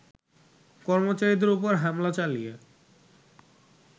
কর্মচারীদের ওপর হামলা চালিয়ে